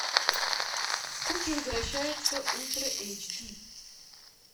куки возвращаются ультра эйч ди